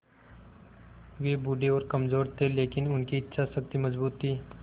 वे बूढ़े और कमज़ोर थे लेकिन उनकी इच्छा शक्ति मज़बूत थी